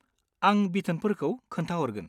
आं बिथोनफोरखौ खोन्थाहरगोन।